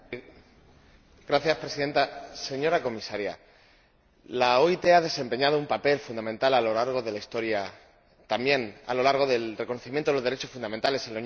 Señora Presidenta, señora Comisaria, la OIT ha desempeñado un papel fundamental a lo largo de la historia, también a lo largo del reconocimiento de los derechos fundamentales en la Unión Europea.